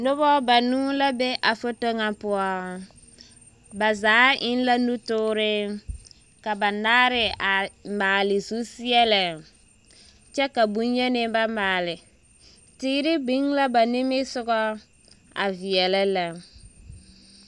Dɔbɔ banuu la be a foto ŋa poɔ. Ba zaa eŋ la nutoore. Ka bannare a maale zuseɛlɛ kyɛ ka boŋyeni ba maale. Teere biŋ la ba nimisoga a veɛlɛ lɛ.